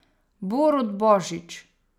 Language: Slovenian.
Borut Božič.